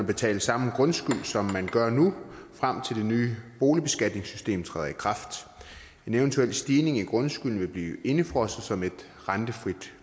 betale samme grundskyld som man gør nu frem til det nye boligbeskatningssystem træder i kraft en eventuel stigning i grundskylden vil blive indefrosset som et rentefrit